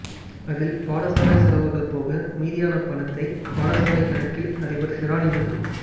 அதில் பாடசாலை செலவுகள் போக மீதியான பணத்தை பாடசாலை கணக்கில் அதிபர் ஷிரானிமில்